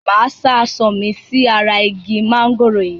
Máa sá aṣọ mi sí ara igi mángòrò yìí.